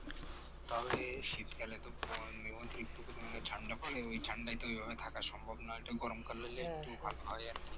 তবে শীতকালে তো তো অতিরিক্ত ঠান্ডা পরে ওই ঠান্ডা থাকা সম্ভব নয় ওটা গরমকাল হলে একটু ভালো হয় আর কি